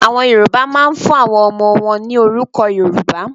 Àwọn Yorùbá máa ń fún àwọn ọmọ wọn ní orúkọ Yorùbá.